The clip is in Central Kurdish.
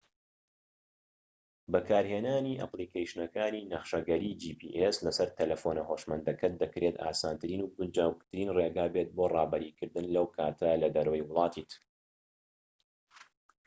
بەکارهێنانی ئەپلیکەیشنەکانی نەخشەگەری جی پی ئێس لە سەر تەلەفۆنە هۆشمەندەکەت دەکرێت ئاسانترین و گونجاوترین ڕێگا بێت بۆ ڕابەری کردن لەو کاتە لە دەرەوەی وڵاتیت